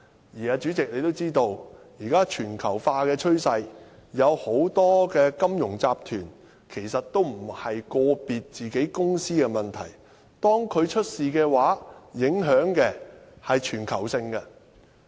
而主席，你也知道，鑒於現時全球化的趨勢，很多金融集團出現問題時，其實都不是個別公司的事情，其影響是全球性的。